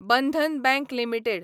Bandhan bank limited